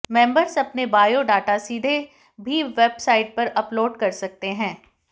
members अपना bio data सीधे भी वेबसाइट पर अपलोड कर सकते हैं